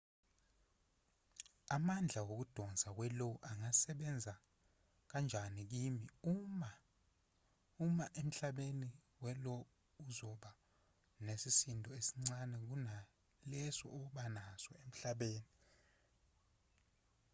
amandla wokudonsa we-io angasebenza kanjani kimi uma uma emhlabeni we-lo uzoba nesisindo esincane kunaleso oba naso emhlabeni